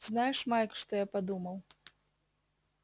знаешь майк что я подумал